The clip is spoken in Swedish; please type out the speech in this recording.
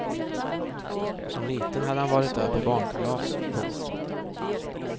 Som liten hade han varit där på barnkalas. punkt